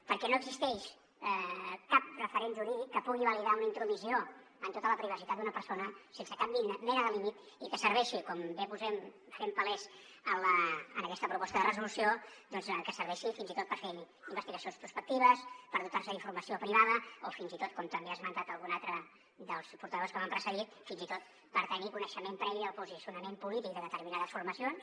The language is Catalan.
perquè no existeix cap referent jurídic que pugui validar una intromissió en tota la privacitat d’una persona sense cap mena de límit i que serveixi com bé fem palès en aquesta proposta de resolució fins i tot per fer investigacions prospectives per dotar se d’informació privada o fins i tot com també ha esmentat algun altre dels portaveus que m’han precedit per tenir coneixement previ del posicionament polític de determinades formacions